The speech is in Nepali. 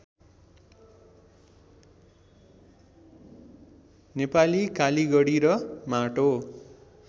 नेपाली कालिगडी र माटो